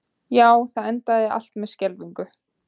Já, það endaði allt með skelfingu.